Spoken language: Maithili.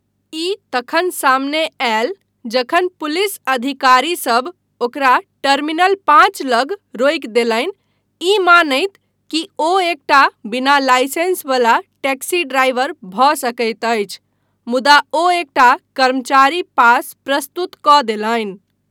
ई तखन सामने आयल जखन पुलिस अधिकारीसब ओकरा टर्मिनल पाँच लग रोकि देलनि, ई मानैत कि ओ एकटा बिना लाइसेंस वला टैक्सी ड्राइवर भऽ सकैत अछि, मुदा ओ एकटा कर्मचारी पास प्रस्तुत कऽ देलनि।